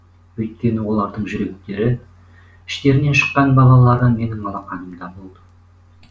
өйткені олардың жүректері іштерінен шыққан балалары менің алақанымда болды